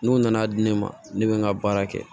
N'u nana di ne ma ne bɛ n ka baara kɛ